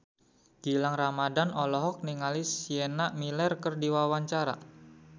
Gilang Ramadan olohok ningali Sienna Miller keur diwawancara